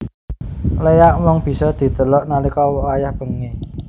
Léak mung bisa didelok nalika wayah wengi